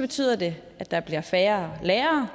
betyder det at der bliver færre lærere